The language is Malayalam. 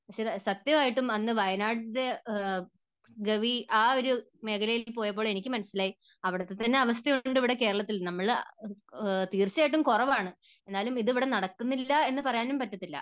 പക്ഷേ സത്യമായിട്ടും അന്ന് വയനാട്ടിലെ ഗവി, ആ ഒരു മേഖലയിൽ പോയപ്പോൾ എനിക്ക് മനസ്സിലായി അവിടുത്തെ തന്നെ അവസ്ഥയുണ്ട് ഇവിടെ കേരളത്തിൽ. നമ്മൾ, തീർച്ചയായിട്ടും കുറവാണ്, എന്നാലും ഇത് ഇവിടെ നടക്കുന്നില്ല എന്ന് പറയാനും പറ്റത്തില്ല.